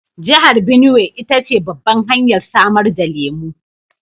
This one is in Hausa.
Jihar Benuwai ita ce babbar hanyar samar da lemu